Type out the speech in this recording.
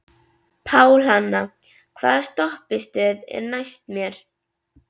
Pálhanna, hvaða stoppistöð er næst mér?